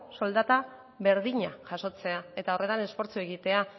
soldata berdina jasotzea eta horretan esfortzua egitea